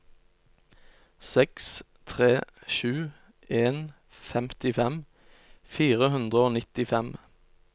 seks tre sju en femtifem fire hundre og nittifem